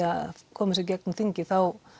að koma þessu í gegnum þingið þá